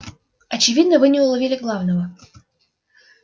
очевидно вы не уловили главного